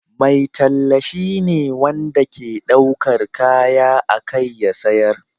Mai talla shine wanda ke daukar kaya a kai ya sayar.